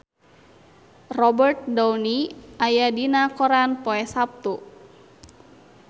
Robert Downey aya dina koran poe Saptu